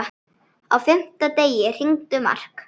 Á fimmta degi hringdi Mark.